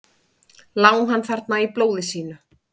Lá hann þarna í blóði sínu?